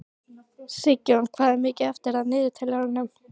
Sigjón, hvað er mikið eftir af niðurteljaranum?